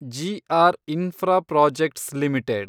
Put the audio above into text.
G R Infraprojects limited